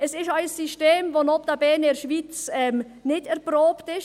Es ist auch ein System, welches notabene in der Schweiz nicht erprobt ist.